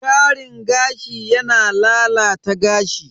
Karin gashi yana lalata gashi.